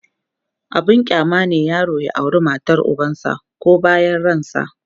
abun kyama ne yaro ya aure matar ubansa koh bayan ransa